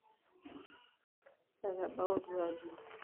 etabautua aji